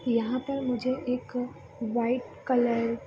यहाँ पर मुझे एक वाइट कलर --